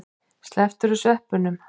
Slepptirðu sveppunum?